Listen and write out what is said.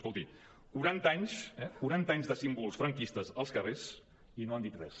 escolti quaranta anys eh quaranta anys de símbols franquistes als carrers i no han dit res